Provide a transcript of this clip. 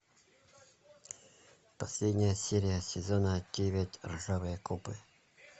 последняя серия сезона девять ржавые копы